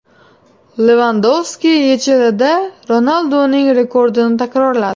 Levandovski YChLda Ronalduning rekordini takrorladi.